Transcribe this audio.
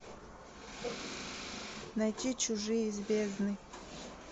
найти чужие из бездны